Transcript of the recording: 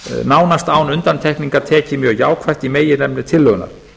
nánast án undantekningar tekið mjög jákvætt í meginefni tillögunnar